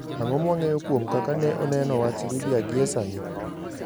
Ang'o mwang'eyo kuom kaka ne oneno wach Libya gie sani?